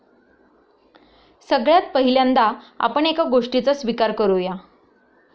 सगळ्यात पहिल्यांदा आपण एका गोष्टीचा स्वीकार करू या.